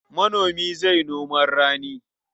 Manomi zai noman rani.